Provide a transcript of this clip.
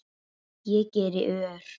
Ég geri ör